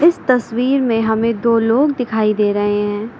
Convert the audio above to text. इस तस्वीर में हमें दो लोग दिखाई दे रहे है।